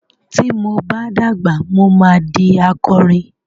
Ti mo bá dàgbà, mo ma di akorin.